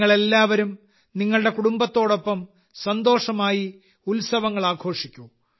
നിങ്ങൾ എല്ലാവരും നിങ്ങളുടെ കുടുംബത്തോടൊപ്പം സന്തോഷമായി ഉത്സവങ്ങൾ ആഘോഷിക്കൂ